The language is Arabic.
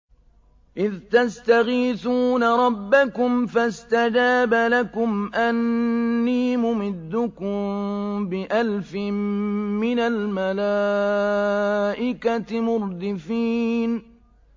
إِذْ تَسْتَغِيثُونَ رَبَّكُمْ فَاسْتَجَابَ لَكُمْ أَنِّي مُمِدُّكُم بِأَلْفٍ مِّنَ الْمَلَائِكَةِ مُرْدِفِينَ